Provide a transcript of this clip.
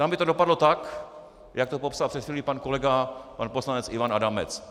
Tam by to dopadlo tak, jak to popsal před chvílí pan kolega pan poslanec Ivan Adamec.